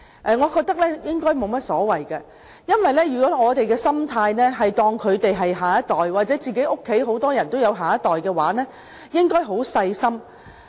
我覺得這樣沒有問題，因為如果我們視他們為下一代，正如大家家裏都有下一代，便應該很細心聆聽他們的心聲。